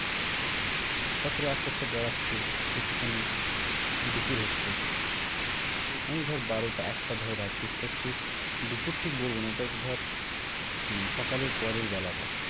উম তারপরে আস্তে আস্তে গড়াচ্ছে একটু খানি হম দুপুর হচ্ছে মানে ধরে বারোটা একটা ধর বাজছে সেটা হচ্ছে দুপুর ঠিক বলবো না ওটা ধর উম সকালের পরের বেলাটা।